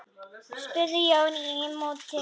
spurði Jón í móti.